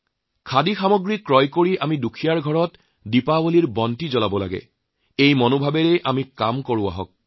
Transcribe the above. খাদী কিনি দুখীয়া লোকসকলৰ ঘৰত দীপাৱলীৰ বন্তি জ্বলাওঁ এই চিন্তাৰে আমি কাম কৰিম